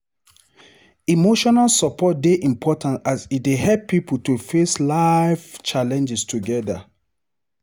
Emotional support dey important as e dey help pipo to face life challenges together.